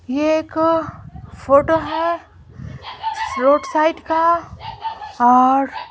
ये एक फोटो है रोड साइड का और --